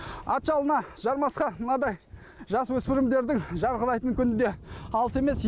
ат жалына жармасқан мынадай жасөспірімдердің жарқырайтын күні де алыс емес